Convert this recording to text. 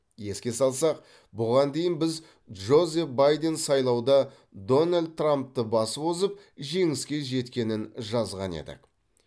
еске салсақ бұған дейін біз джозеф байден сайлауда дональд трампты басып озып жеңіске жеткенін жазған едік